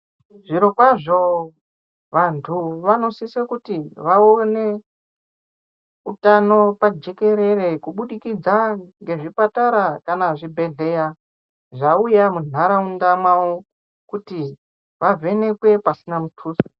Zviro kwazvo vantu vanosise kuti vaone utano pajekerere kubudikidza ngezvipatara kana zvibhehleya zvauya munharaunda mavo kuti vavhenekwe pasina mutuso.